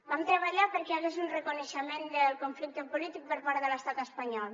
vam treballar perquè hi hagués un reconeixement del conflicte polític per part de l’estat espanyol